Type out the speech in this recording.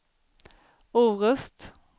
Orust